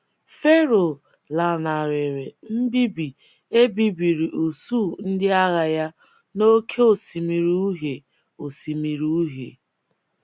Fero lanarịrị mbibi e bibiri usuu ndị agha ya n’Oké Osimiri Uhie Osimiri Uhie.